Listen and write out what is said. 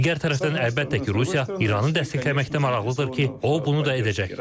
Digər tərəfdən, əlbəttə ki, Rusiya İranı dəstəkləməkdə maraqlıdır ki, o, bunu da edəcək.